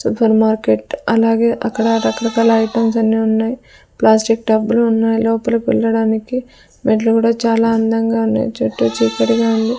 Super market అలాగే అక్కడ రకరకాల ఐటమ్స్ అన్ని ఉన్నాయి ప్లాస్టిక్ టబ్బు లు ఉన్నాయ్ లోపలికి పెల్లడానికి మెట్లు కూడా చాలా అందంగా ఉన్నాయ్ చుట్టూ చీకటిగా ఉంది.